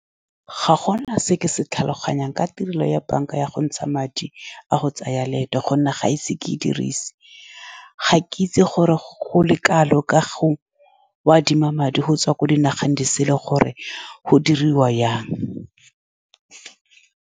Ga gona se ke se tlhaloganyang ka tirelo ya banka ya go ntsha madi, a go tsaya leeto, ka gonne ga ise ke e dirise. Ga ke itse gore go le kalo ka go adima madi go tswa ko dinageng disele, gore go diriwa jang.